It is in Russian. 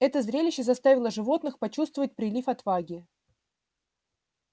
это зрелище заставило животных почувствовать прилив отваги